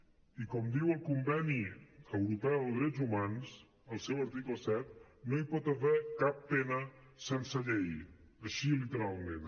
i com diu el conveni europeu de drets humans en el seu article set no hi pot haver cap pena sense llei així literalment